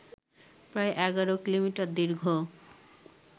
প্রায় ১১ কিলোমিটার দীর্ঘ